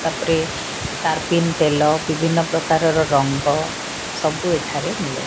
ତାପରେ ତାରପିନ ତେଲ ବିଭିନ୍ନ ପ୍ରକାରର ରଙ୍ଗ ସବୁ ଏଠାରେ ମିଲେ।